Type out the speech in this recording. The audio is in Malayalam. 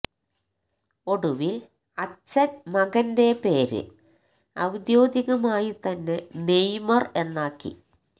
ഒടുവിൽ അച്ഛൻ മകന്റെ പേര് ഔദ്യോഗികമായി തന്നെ നെയ്മർ എന്നാക്കി